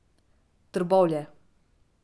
Trbovlje.